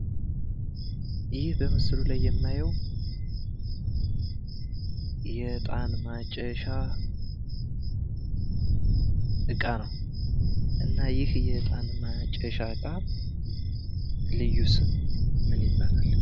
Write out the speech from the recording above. ይኽ በምስሉ ላይ የማየው የእጣን ማጨሻ እቃ ነው። እና ይኽ የእጣን ማጨሻ እቃ ልዩ ስም ማን ይባላል?